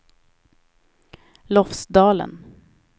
Lofsdalen